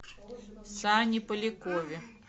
сане полякове